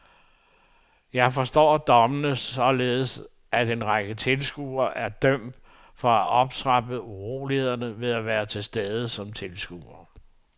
Jeg forstår dommene sådan, at en række tilskuere er dømt for at have optrappet urolighederne ved at være til stede som tilskuere.